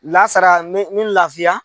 Lasara n me me n lafiya.